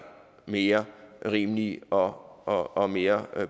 mere rimelige og og mere